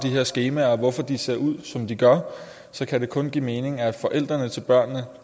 her skemaer og hvorfor de ser ud som de gør kan det kun give mening at forældrene til børnene